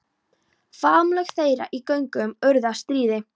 Faðmlög þeirra í göngunum urðu að stríði.